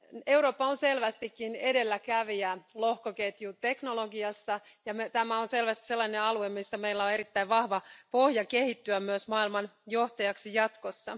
Eurooppa on selvästikin edelläkävijä lohkoketjuteknologiassa, ja tämä on selvästi sellainen alue, missä meillä on erittäin vahva pohja kehittyä myös maailman johtajaksi jatkossa.